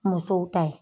Musow ta ye